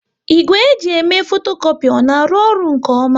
Igwe e ji eme fotokopi ọ na arụ ọrụ nke ọma?